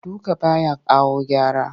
Duka ba ya kawo gyara